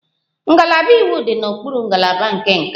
Ngalaba iwu dị n'okpuru ngalaba nke nka